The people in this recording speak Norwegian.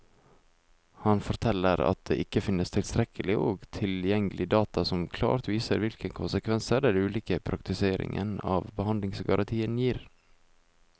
Han forteller at det ikke finnes tilstrekkelig og tilgjengelig data som klart viser hvilke konsekvenser den ulike praktiseringen av behandlingsgarantien gir.